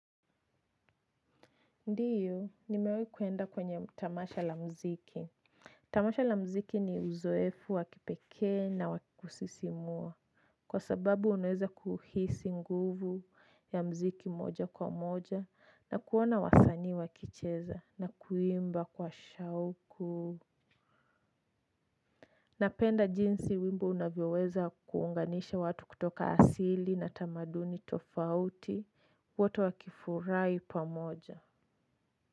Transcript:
Ndiyo, nimewai kuenda kwenye tamasha la mziki. Tamasha la mziki ni uzoefu wa kipekee na wa kusisimua. Kwa sababu unaweza kuhisi nguvu ya mziki moja kwa moja na kuona wasani wakicheza na kuimba kwa shauku. Napenda jinsi wimbo unavyoweza kuunganisha watu kutoka asili na tamaduni tofauti wote wakifurai pamoja.